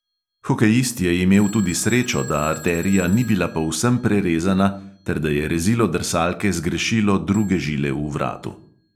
Hokejist je imel tudi srečo, da arterija ni bila povsem prerezana ter da je rezilo drsalke zgrešilo druge žile v vratu.